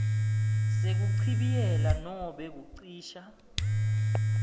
sekuchibiyela nobe kucisha